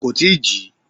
Kò tí ì jí.